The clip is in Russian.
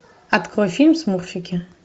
открой фильм смурфики